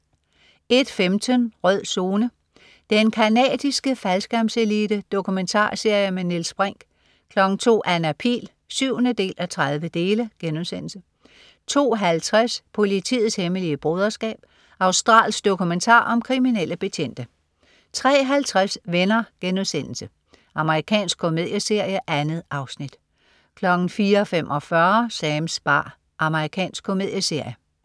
01.15 Rød Zone: Den canadiske faldskærmselite. Dokumentarserie med Niels Brinch 02.00 Anna Pihl 7:30* 02.50 Politiets hemmelige broderskab. Australsk dokumentar om kriminelle betjente 03.50 Venner.* Amerikansk komedieserie. 2 afsnit 04.45 Sams bar. Amerikansk komedieserie